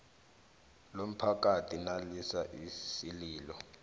lomphakathi nalisa isililo